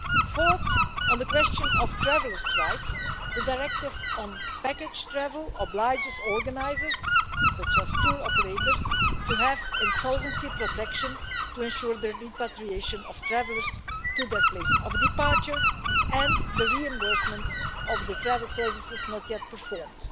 Fourth, on the question of travellers' rights, the Directive on package travel obliges organisers such as tour operators to have insolvency protection to ensure the repatriation of travellers to their place of departure and the reimbursement of the travel services not yet performed,